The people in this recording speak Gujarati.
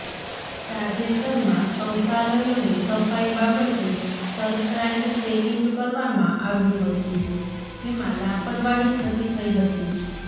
તાજેતરમાં શૌચાલયોની સફાઈ બાબતે સરપ્રાઈઝ ચેકીંગ કરવામાં આવ્યું હતું જેમાં લાપરવાહી છતી થઈ હતી